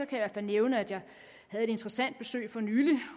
kan jeg nævne at jeg havde et interessant besøg for nylig